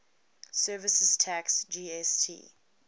services tax gst